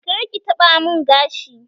Kar ki taɓa mun gashi!